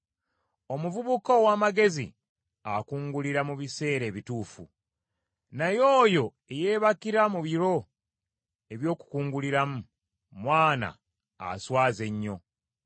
Omuvubuka ow’amagezi akungulira mu biseera ebituufu, naye oyo eyeebakira mu biro eby’okukunguliramu mwana aswaza ennyo.